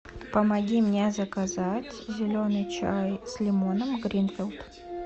помоги мне заказать зеленый чай с лимоном гринфилд